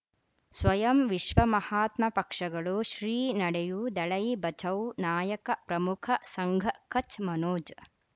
ಸ್ವಯಂ ವಿಶ್ವ ಮಹಾತ್ಮ ಪಕ್ಷಗಳು ಶ್ರೀ ನಡೆಯೂ ದಲೈ ಬಚೌ ನಾಯಕ ಪ್ರಮುಖ ಸಂಘ ಕಚ್ ಮನೋಜ್